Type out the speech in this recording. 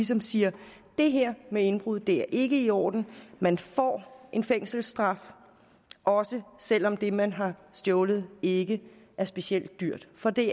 som siger det her med indbrud er ikke i orden man får en fængselsstraf også selv om det man har stjålet ikke er specielt dyrt for det